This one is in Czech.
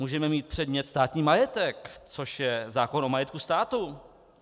Můžeme mít předmět státní majetek, což je zákon o majetku státu.